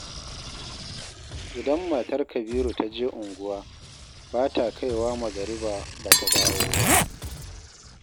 Idan matar Kabiru ta je unguwa, bata kaiwa magariba ba ta dawo ba